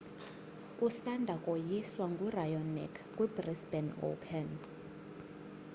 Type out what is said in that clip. usanda koyiswa nguraonic kwibrisbane open